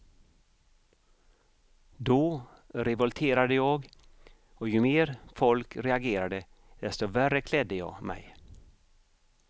Då revolterade jag och ju mer folk reagerade desto värre klädde jag mig.